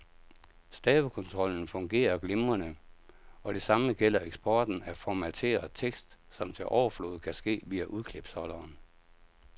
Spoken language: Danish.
Stavekontrollen fungerer glimrende, og det samme gælder eksporten af formateret tekst, som til overflod kan ske via udklipsholderen.